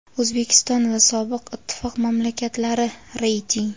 O‘zbekiston va sobiq ittifoq mamlakatlari (reyting).